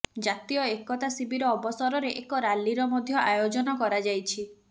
ଜାତୀୟ ଏକତା ଶିବିର ଅବସରରେ ଏକ ର୍ୟାଲିର ମଧ୍ୟ ଆୟୋଜନ କରାଯାଇଛି